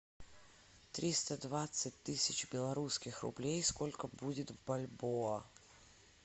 триста двадцать тысяч белорусских рублей сколько будет в бальбоа